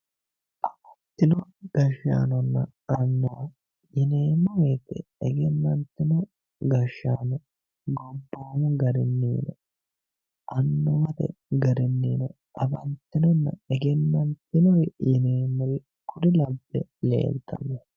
afantino gashshaanonna annuwa yinermmowoyite egennantino gashshaano gobboomu garinni annuwate garinnino afantinonna egennantinore yineemmori kuri labbe leeltanno.